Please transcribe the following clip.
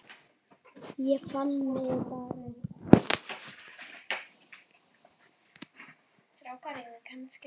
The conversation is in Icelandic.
Ég fann mig bara ekki.